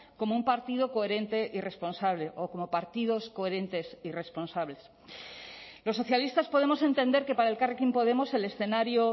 como un partido coherente y responsable o como partidos coherentes y responsables los socialistas podemos entender que para elkarrekin podemos el escenario